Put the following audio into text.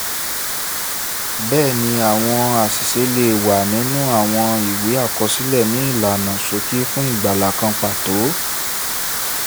bẹ́ẹ̀ni àwọn àṣìṣe lè wà nínú àwọn ìwé àkọsílẹ̀ ni ìlànà ṣókí fún ìgbàlà kan pàtó